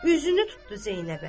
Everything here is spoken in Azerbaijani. Üzünü tutdu Zeynəbə.